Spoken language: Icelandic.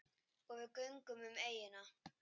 Og við göngum um eyjuna.